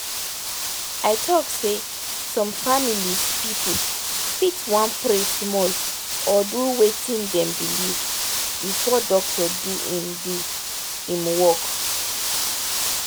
i talk say some families people fit wan pray small or do watin them belive before doctor do him do him work